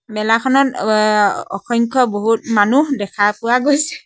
মেলাখনত ও ৱ অ অসংখ্য বহুত মানুহ দেখা পোৱা গৈছে।